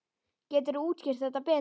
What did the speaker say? Geturðu útskýrt þetta betur?